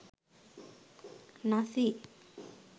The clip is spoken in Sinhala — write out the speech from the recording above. nazi